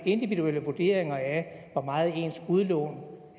individuelle vurderinger af hvor meget ens udlån